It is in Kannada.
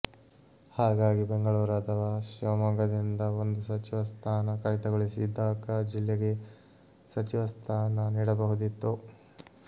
ಹಾಗಾಗಿ ಬೆಂಗಳೂರು ಅಥವಾ ಶಿವಮೊಗ್ಗ ದಿಂದ ಒಂದು ಸಚಿವ ಸ್ಥಾನ ಕಡಿತಗೊಳಿಸಿ ದಕ ಜಿಲ್ಲೆಗೆ ಸಚಿವ ಸ್ಥಾನ ನೀಡಬಹುದಿತ್ತು